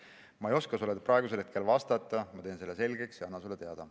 Ma ei oska sulle praegu vastata, aga ma teen selle selgeks ja annan sulle teada.